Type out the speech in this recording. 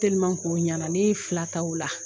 ko ɲɛna, ne fila ta ola.